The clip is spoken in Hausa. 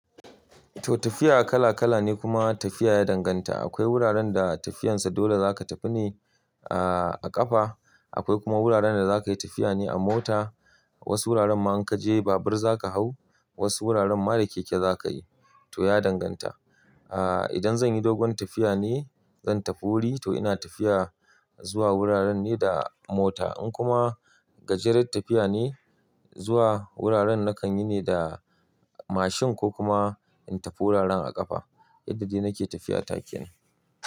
To tafiya kala kala ne kuma tafiya ya danganta. Akwai wuraren da tafiyan sa dole zaka tafi ne a, a ƙafa. Akwai kuma wuraren da zaka yi tafiya ne a mota. Wasu wuraren ma in ka je babur zaka hau, wasu wuraren ma da keke zaka yi to ya danganta. Aaa idan zanyi dogon tafiya ne zan tafi wuri to ina tafiya zuwa wuraren ne da mota. In kuma gajeren tafiya ne zuwa wuraren nakan yi ne da mashin ko kuma in tafi wuraren a ƙafa yadda dai nake tafiya ta kenan.